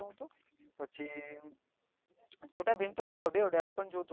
છોટા ભીમ તો હવે છોટા ભીમ તો